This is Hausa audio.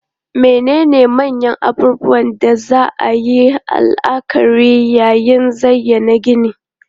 Menene manyan abubuwan da za a yi la'akari yayin zayyana ginin?